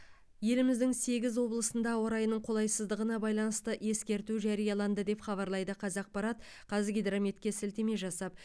еліміздің сегіз облысында ауа райының қолайсыздығына байланысты ескерту жарияланды деп хабарлайды қазақпарат қазгидрометке сілтеме жасап